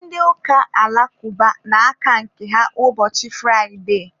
Ndị ụka alakụba na-aka nke ha ụbọchị Fraide.